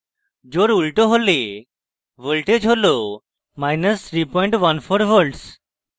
জোড় উল্টো করলে voltage হল314v